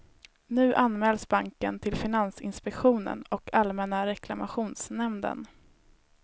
Nu anmäls banken till finansinspektionen och allmänna reklamationsnämnden.